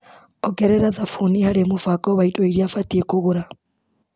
Ongerera thabũni harĩ mũbango wa indo iria batiĩ kũgũra .